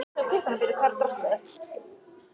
Hann brosti raunalega.